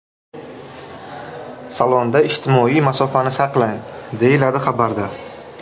Salonda ijtimoiy masofani saqlang”, deyiladi xabarda.